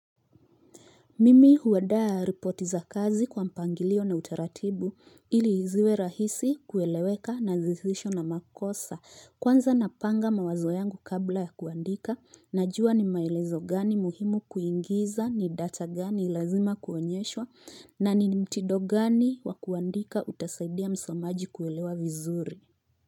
Mimi huandaa ripoti za kazi kwa mpangilio na utaratibu ili ziwe rahisi kueleweka na zisizo na makosa. Kwanza napanga mawazo yangu kabla ya kuandika, najua ni maelezo gani muhimu kuingiza ni data gani lazima kuonyeshwa na ni mtindo gani wa kuandika utasaidia msomaji kuelewa vizuri.